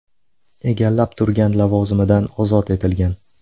egallab turgan lavozimidan ozod etilgan.